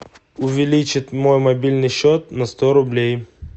увеличить мой мобильный счет на сто рублей